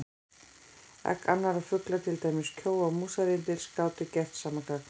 Egg annarra fugla, til dæmis kjóa og músarrindils, gátu gert sama gagn.